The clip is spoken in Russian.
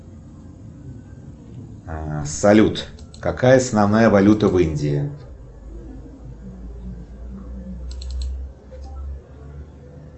салют какая основная валюта в индии